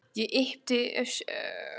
Ég yppti öxlum og gjóaði augunum á Stínu.